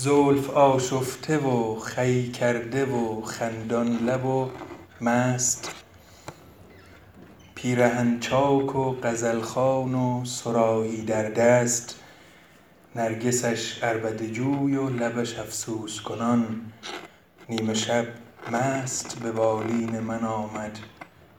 زلف آشفته و خوی کرده و خندان لب و مست پیرهن چاک و غزل خوان و صراحی در دست نرگسش عربده جوی و لبش افسوس کنان نیم شب دوش به بالین من آمد